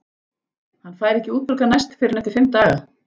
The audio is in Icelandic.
Hann fær ekki útborgað næst fyrr en eftir fimm daga.